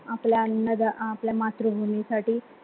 आपल्या अन्न ध्या आपल्या मातृभूमी साठी.